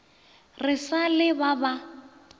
re sa le ba ba